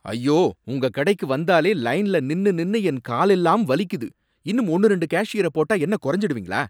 ஐயோ! உங்க கடைக்கு வந்தாலே லைன்ல நின்னு நின்னு என் கால் எல்லாம் வலிக்குது, இன்னும் ஒன்னு ரெண்டு கேஷியர போட்டா என்ன கொறஞ்சுடுவீங்களா?